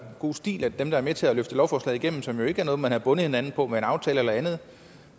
god stil at dem der var med til at løfte lovforslaget igennem som jo ikke er noget man har bundet hinanden op på med en aftale eller andet